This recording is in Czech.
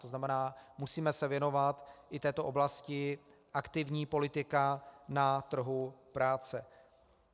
To znamená, musíme se věnovat i této oblasti aktivní politiky na trhu práce.